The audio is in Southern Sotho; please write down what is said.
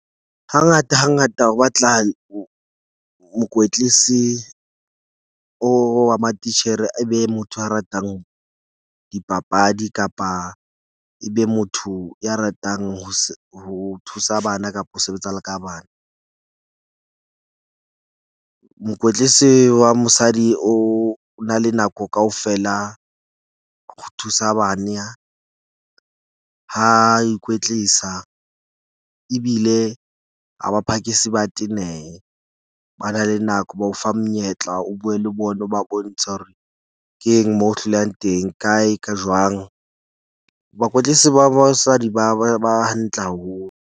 Hangata hangata ho batla mokwetlisi o wa matitjhere, e be motho a ratang dipapadi. Kapa e be motho ya ratang ho ho thusa bana kapo ho sebetsa le ka bana. Mokwetlisi wa mosadi o na le nako kaofela ho thusa bana. Ha ikwetlisa ebile ha ba phakisi ba tenehe. Ba na le nako, ba o fa monyetla o bue le bona ba bontshe hore keng moo hlolehang teng kae ka jwang. Bakwetlisi ba basadi ba ba ba hantle haholo.